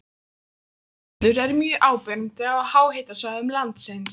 Leirskellur eru mjög áberandi á háhitasvæðum landsins.